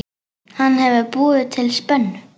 Hann hefur búið til spennu.